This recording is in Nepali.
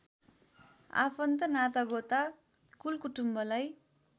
आफन्त नातागोता कुलकुटुम्बलाई